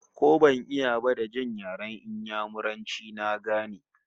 Ko ban iya ba, da jin yaren Inyamuranci na gane